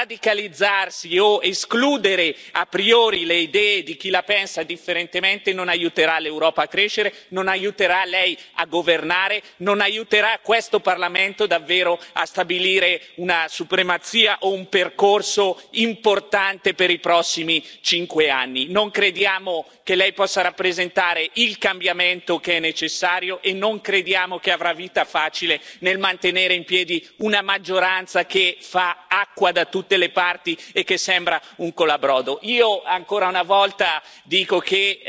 Radicalizzarsi o escludere a priori le idee di chi la pensa differentemente non aiuterà l'Europa a crescere, non aiuterà Lei a governare, non aiuterà questo Parlamento davvero a stabilire una supremazia o un percorso importante per i prossimi cinque anni. Non crediamo che Lei possa rappresentare il cambiamento che è necessario e non crediamo che avrà vita facile nel mantenere in piedi una maggioranza che fa acqua da tutte le parti e che sembra un colabrodo. Io, ancora una volta, dico che